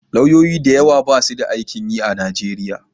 Lauyoyi da yawa basu da aikin yi a Nigeria.